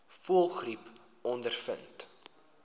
voëlgriep ondervind